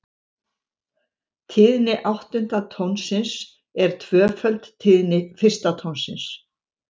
Tíðni áttunda tónsins er tvöföld tíðni fyrsta tónsins.